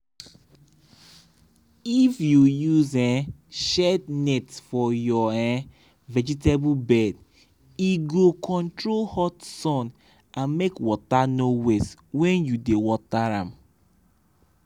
if you use um shade net for your um vegetable bed e go control hot sun and make water no waste when you dey water dem.